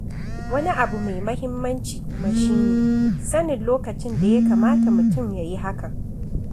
Wani abu mai muhimmanci kuma shi ne sanin lokacin da ya kamata mutum ya yi hakan.